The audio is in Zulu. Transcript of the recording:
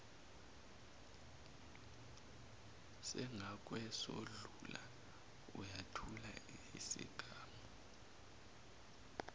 sangakwesokudla uyathula isigamu